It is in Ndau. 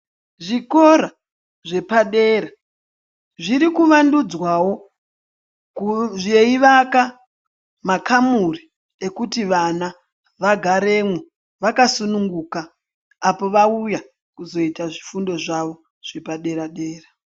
Zvikora zvepadera, zviri kuvandudzwawo kuuzveivaka makamuri ekuti vana vagaremwo vakasununguka, apo vauya kuzoita zvifundo zvavo zvepadera-dera.